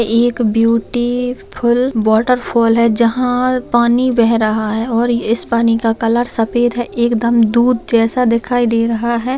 एक beautiful water fall है जहा पानी बह रहा है और इस पानी का कलर सफेद है एक दम दुध जैसा दिखाई दे रहा है।